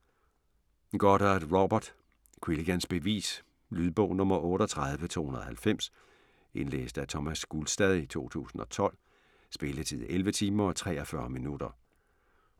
Goddard, Robert: Quilligans bevis Lydbog 38290 Indlæst af Thomas Gulstad, 2012. Spilletid: 11 timer, 43 minutter.